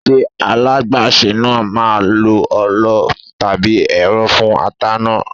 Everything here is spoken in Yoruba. Ṣé alágbàsè náà máà ń lo ọlọ tàbí ẹ̀rọ fún ata náà?